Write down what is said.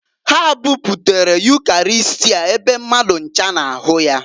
Ha buputara Ukarịstịa ebe mmadụ ncha na-ahụ ya.